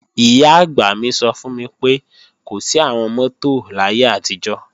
Ìyá-àgbà mi sọ fún mi pé, kò sí àwọn mọ́tò láyé àtijọ́